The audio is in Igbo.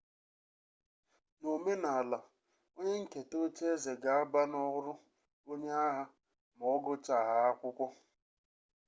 n'omenala onye nketa ocheeze ga aba n'ọrụ onye agha ma ọgụchahaa akwụkwọ